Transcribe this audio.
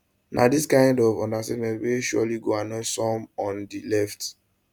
na di kind of understatement wey surely go annoy some on di left